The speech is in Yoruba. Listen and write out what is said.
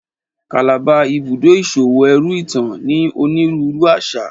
Calabar, Ibùdó iṣowo ẹru itan, ní onírúurú aṣa